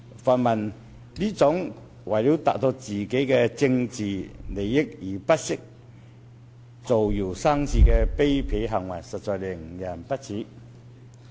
泛民這種為了政治利益而不惜造謠生事的卑鄙行為，實在令人不齒。